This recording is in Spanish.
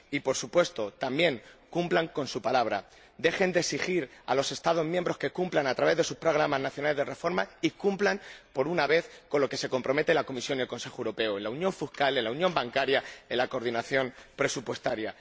Y, por supuesto, también cumplan con su palabra dejen de exigir a los Estados miembros que cumplan, a través de sus programas nacionales de reforma, y cumplan, por una vez, con lo que se comprometen la Comisión y el Consejo Europeo con la unión fiscal, con la unión bancaria y con la coordinación presupuestaria.